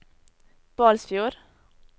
Balsfjord